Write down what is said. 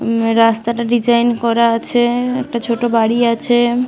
ম রাস্তা তা ডিসাইন করা আছে। একটা ছোট বাড়ি আছে।